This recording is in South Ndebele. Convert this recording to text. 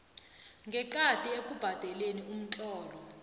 ngeqadi ekubhadeleni umthelo